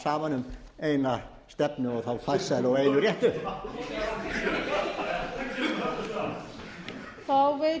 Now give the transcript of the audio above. saman um eina stefnu og þá farsælu og einu réttu